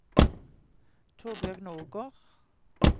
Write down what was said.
Torbjørg Nordgård